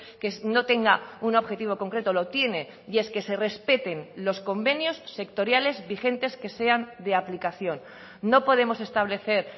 que no tenga un objetivo concreto lo tiene y es que se respeten los convenios sectoriales vigentes que sean de aplicación no podemos establecer